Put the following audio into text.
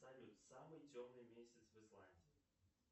салют самый темный месяц в исландии